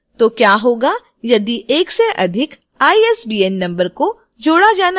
तो क्या होगा यदि एक से अधिक isbn number को जोड़ा जाना है